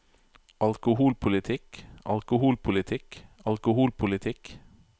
alkoholpolitikk alkoholpolitikk alkoholpolitikk